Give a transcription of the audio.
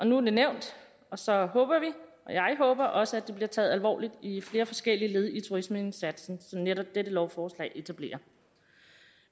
nu er det nævnt og så håber vi og jeg håber også at det bliver taget alvorligt i flere forskellige led i turismeindsatsen som netop dette lovforslag etablerer